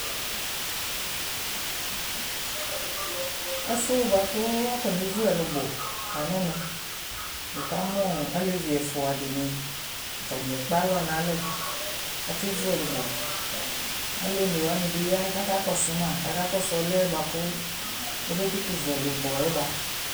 Ɛfʋ yɛ bʋa kʋ akɔnevu ɛlʋbɔ la n'ɛmɛ Nɩka mʋ ɔɔ alevi ɛfua dɩnɩ, atanɩ ekpe alɔ n'alɛ k'akevu ɛlʋbɔ Alʋ onewani bɩ ya k'aka kɔsʋ ma, k'aka kɔsʋ ɔlʋ yɛ bʋa kʋ amakʋtʋ vu ɛlʋbɔ yɛ ba